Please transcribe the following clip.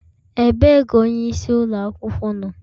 Ebee ka onye isi ụlọ akwụkwọ nọ?